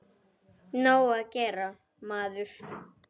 Nóg að gera, maður.